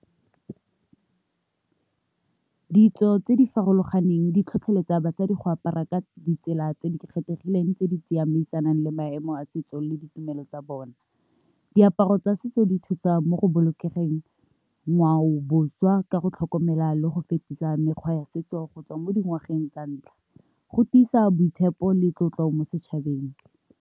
Ditso tse di farologaneng di tlhotlheletsa basadi go apara ka ditsela tse di kgethegileng tse di tsamaisanang le maemo a setso le ditumelo tsa bona. Diaparo tsa setso di thusa mo go bolokeng ngwao boswa ka go tlhokomela le go fetisa mekgwa ya setso gotswa mo dingwageng tsa ntlha, go tlisa boitshepo le tlotlo mo setšhabeng.